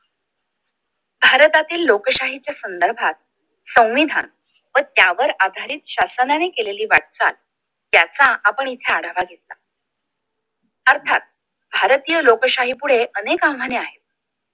भारतातील लोकशाहीच्या संदर्भात संविधान व त्यावर आधारित शासनाने केलेली वाटचाल त्याचा आपण इथे आढावा घेतला अर्थात भारतीय लोकशाहीपुढे अनेक आव्हाने आहेत